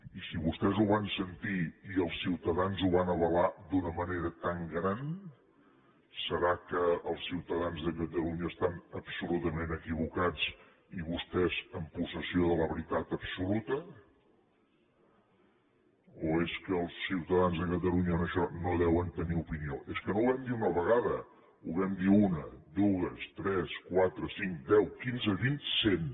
i si vostès ho van sentir i els ciutadans ho van avalar d’una manera tan gran deu ser que els ciutadans de catalunya estan absolutament equivocats i vostès en possessió de la veritat absoluta o és que els ciutadans de catalunya en això no deuen tenir opinió és que no ho vam dir una vegada ho vam dir una dues tres quatre cinc deu quinze vint cent